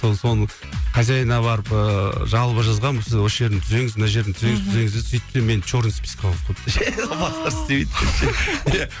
сол соның хозяинына барып ыыы жалобы жазғанбыз осы жерін түзеңіз мына жерін түзеңіз түзеңіз деп сөйтсем мені черный списокка қойып қойыпты ше бастары істемейді вообще